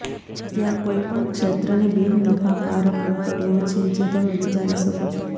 ત્યાં કોઈ પણ ક્ષેત્રની બિનનફાકારક નોકરીઓ છે જે તમે વિચારી શકો છો